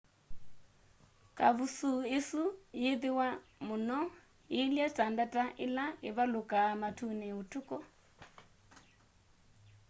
kavusuu isu yiithiwa muno iilye ta ndata ila ivalukaa matuni utuku